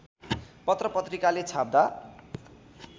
पत्र पत्रिकाले छाप्दा